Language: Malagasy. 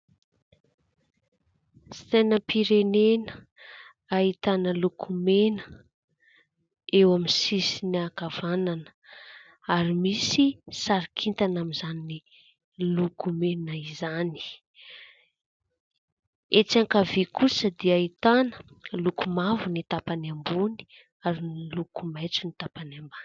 Sainam-pirenena ahitana : loko mena eo amin'ny sisiny ankavanana ary misy sary kintana amin'izany loko mena izany, etsy ankavia kosa dia ahitana loko mavo ny tampany ambony ary miloko maitso ny tapany ambany.